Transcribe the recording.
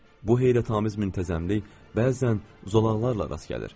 Bu heyrətamiz müntəzəmlik bəzən zolaqlarla rast gəlir.